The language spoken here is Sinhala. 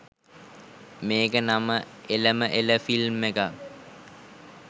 මේ‍ක නම එලම එළ ෆිල්ම් එකක්